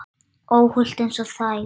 Óhult einsog þær.